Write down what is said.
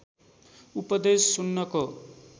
उपदेश सुन्नको